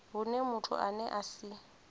hune muthu ane a si